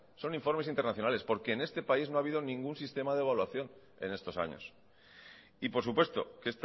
son informes internacionales porque en este país no ha habido ningún sistema de evaluación en estos años y por supuesto que